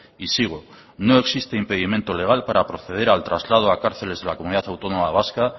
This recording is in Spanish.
y sigo no existe impedimento legal para proceder al traslado a cárceles en la comunidad autónoma vasca